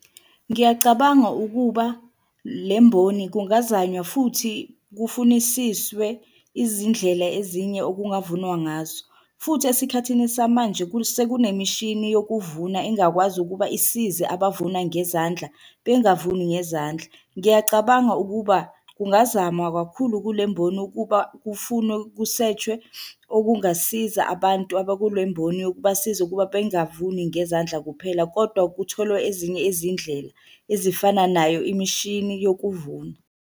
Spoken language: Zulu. Ngiyacabanga ukuba le mboni kungazanywa futhi kufunisiswe izindlela ezinye okungavunwa ngazo futhi esikhathini samanje, sekunemishini yokuvuna engakwazi ukuba isize abavuna ngezandla bengavuni ngezandla. Ngiyacabanga ukuba kungazamwa kakhulu kule mboni ukuba kufunwe, ku-search-we okungasiza abantu abakule mboni, ukubasiza ukuba bengavuni ngezandla kuphela kodwa kutholwe ezinye izindlela ezifana nayo imishini yokuvuna.